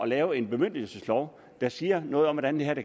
lave en bemyndigelseslov der siger noget om hvordan det her